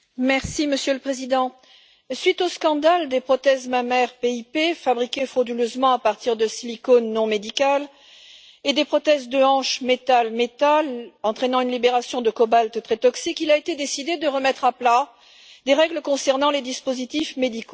Monsieur le Président, à la suite des scandales des prothèses mammaires PIP fabriquées frauduleusement à partir de silicone non médical et des prothèses de hanche métal métal qui entraînaient une propagation de cobalt très toxique, il a été décidé de remettre à plat les règles concernant les dispositifs médicaux.